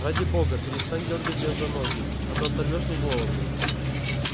ради бога перестань дёргать меня за ноги а то оторвёшь мне голову